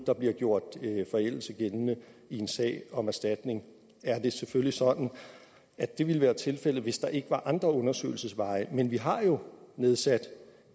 nu bliver gjort forældelse gældende i en sag om erstatning er det selvfølgelig sådan at det ville være tilfældet hvis der ikke var andre undersøgelsesveje men vi har jo nedsat